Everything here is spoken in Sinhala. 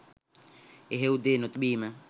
එහෙව් දේ නොතිබීම